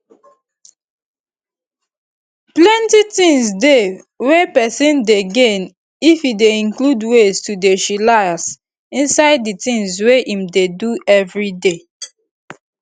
plenty things dey wey peson dey gain if e dey include ways to dey chillax inside di things wey im dey do everyday